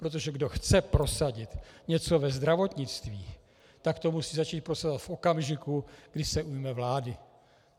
Protože kdo chce prosadit něco ve zdravotnictví, tak to musí začít prosazovat v okamžiku, kdy se ujme vlády.